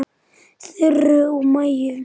Þuru og Maju.